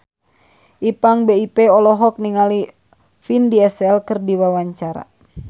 Ipank BIP olohok ningali Vin Diesel keur diwawancara